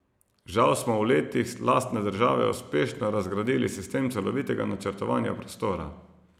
Žal smo v letih lastne države uspešno razgradili sistem celovitega načrtovanja prostora.